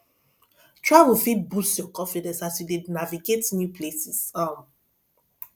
travel fit boost your confidence as you dey navigate new places um